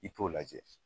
I t'o lajɛ